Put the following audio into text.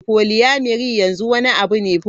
Polyamoury yanzu wani abu ne.